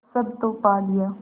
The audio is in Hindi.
सब तो पा लिया